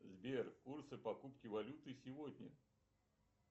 сбер курсы покупки валюты сегодня